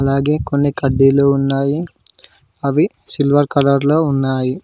అలాగే కొన్ని కడ్డీలు ఉన్నాయి అవి సిల్వర్ కలర్ లో ఉన్నాయి.